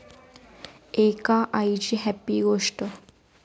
एका आईची 'हॅपी' गोष्ट!